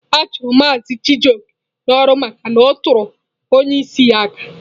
A chụrụ Mazị Chijioke n'ọrụ maka na ọ tụrụ onye isi ya aka.